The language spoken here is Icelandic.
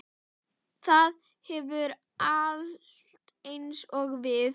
Það hefur allt eins og við.